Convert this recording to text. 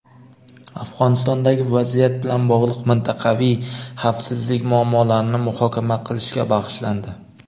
Afg‘onistondagi vaziyat bilan bog‘liq mintaqaviy xavfsizlik muammolarini muhokama qilishga bag‘ishlandi.